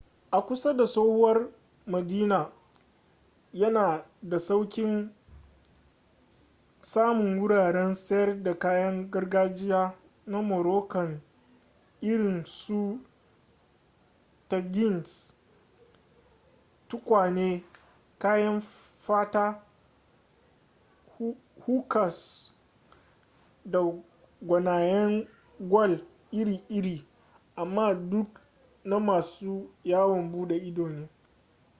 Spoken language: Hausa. a kusa da tsohuwar madina yana da sauƙin samun wuraren sayar da kayan gargajiya na moroccan irin su tagines tukwane kayan fata hookahs da gwanayen gwal iri-iri amma duka na masu yawon bude ido ne